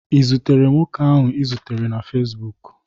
i zutere nwoke ahụ ị zutere na Facibụkụ?